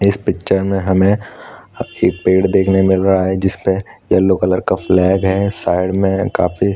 इस पिक्चर में हमें अअ एक पेड़ दिखने मिल रहा है जिसमे यल्लो कलर का फ्लैग है साइड में काफी--